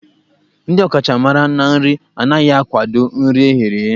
Ndị ọkachamara na nri anaghị akwado nri eghere eghe.